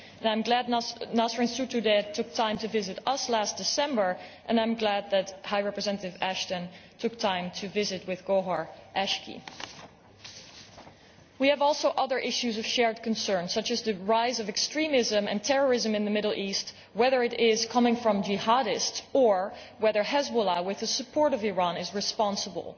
I am glad that Nasrin Sotoudeh took time to visit us last December, and I am glad that High Representative Ashton took time to visit with Gohar Eshgi. We also have other issues of shared concern, such as the rise of extremism and terrorism in the Middle East, whether it comes from Jihadists or whether Hezbollah, with the support of Iran, is responsible.